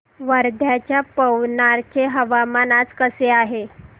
वर्ध्याच्या पवनार चे हवामान आज कसे आहे